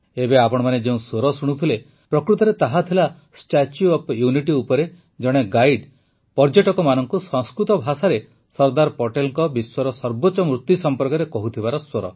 ଏବେ ଆପଣମାନେ ଯେଉଁ ସ୍ୱର ଶୁଣୁଥିଲେ ପ୍ରକୃତରେ ତାହା ଥିଲା ଷ୍ଟାଚ୍ୟୁ ଅଫ୍ ୟୁନିଟି ଉପରେ ଜଣେ ଗାଇଡ୍ ପର୍ଯ୍ୟଟକମାନଙ୍କୁ ସଂସ୍କୃତ ଭାଷାରେ ସରଦାର ପଟେଲ୍ଙ୍କ ବିଶ୍ୱର ସର୍ବୋଚ୍ଚ ମୂର୍ତି ସମ୍ପର୍କରେ କହୁଥିବାର ସ୍ୱର